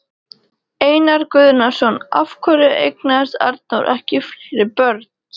Einar Guðnason: Af hverju eignaðist Arnór ekki fleiri börn?